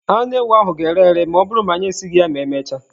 Anụ ewu ahụ ga-ere ere ma ọ bụrụ na anyị esighị ya ma emechaa.